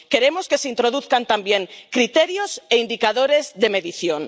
Queremos que se introduzcan también criterios e indicadores de medición.